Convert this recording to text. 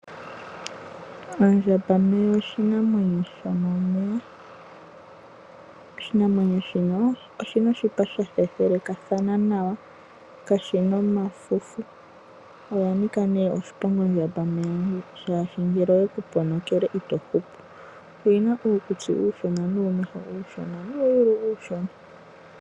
Ondjambameya oshinamwenyo shomomeya. Oshinamwenyo shoka, oshina oshipa sha thethelekathana nawa, kashina omafufu. Ondjameya oya nika ihe oshiponga, oshoka ngele oyeku ponokele ito hupu. Oyina uukutsi nuumeho uushona, noshowo uuyulu uushona.